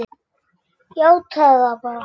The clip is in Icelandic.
Játaðu það bara!